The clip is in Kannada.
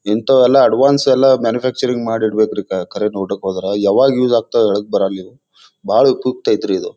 ಇಂಥವೆಲ್ಲ ಅಡ್ವಾನ್ಸ್ ಎಲ್ಲ ಮ್ಯಾನುಫ್ಯಾಕ್ಚರಿಂಗ್ ಮಾಡಿ ಇಡಬೇಕ್ರಿ ಕ ಕರೆ ನೋಡೋಕ್ ಹೋದ್ರ ಯಾವಾಗ್ ಯೂಸ್ ಆಗ್ತಾವ್ ಹೇಳಕ್ ಬರಲ್ಲ ಇವು ಬಾಳ ಕುತ್ ಐತ್ರಿ ಇದು.